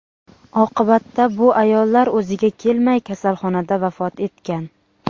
Oqibatda bu ayollar o‘ziga kelmay, kasalxonada vafot etgan.